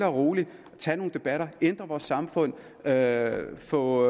roligt at tage nogle debatter ændre vores samfund ved at få